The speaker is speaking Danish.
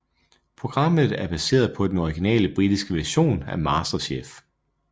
Programmet er baseret på den originale britiske version af MasterChef